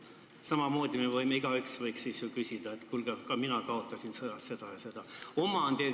Samamoodi võiks me igaüks küsida, et kuulge, mina kaotasin sõjas seda ja seda.